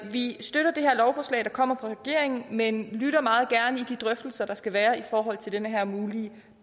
vi støtter det her lovforslag der kommer fra regeringen men lytter meget gerne i de drøftelser der skal være i forhold til den her mulige